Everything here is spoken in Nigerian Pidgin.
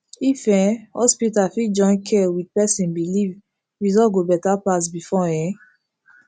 if um hospital fit join care with person belief result go better pass before um